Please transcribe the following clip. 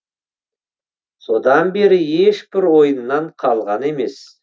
содан бері ешбір ойыннан қалған емес